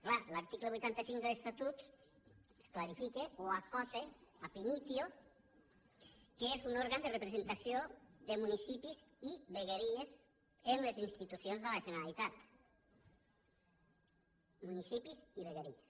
clar l’article vuitanta cinc de l’estatut clarifica o acota ab initio que és un òrgan de representació de municipis i vegueries en les institucions de la generalitat municipis i vegueries